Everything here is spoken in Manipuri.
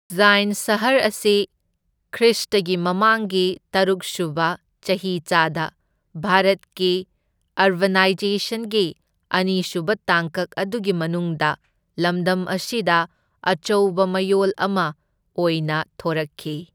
ꯎꯖꯖꯥꯢꯟ ꯁꯍꯔ ꯑꯁꯤ ꯈ꯭ꯔꯤꯁꯇꯒꯤ ꯃꯃꯥꯡꯒꯤ ꯇꯔꯨꯛꯁꯨꯕ ꯆꯍꯤꯆꯥꯗ ꯚꯥꯔꯠꯀꯤ ꯑꯔꯕꯥꯅꯥꯏꯖꯦꯁꯟꯒꯤ ꯑꯅꯤꯁꯨꯕ ꯇꯥꯡꯀꯛ ꯑꯗꯨꯒꯤ ꯃꯅꯨꯡꯗ ꯂꯝꯗꯝ ꯑꯁꯤꯗ ꯑꯆꯧꯕ ꯃꯌꯣꯜ ꯑꯃ ꯑꯣꯏꯅ ꯊꯣꯔꯛꯈꯤ꯫